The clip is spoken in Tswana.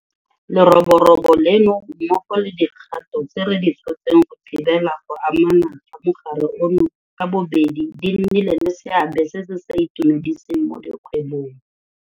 Leroborobo leno mmogo le dikgato tse re di tshotseng go thibela go anama ga mogare ono ka bobedi di nnile le seabe se se sa itumediseng mo dikgwebong.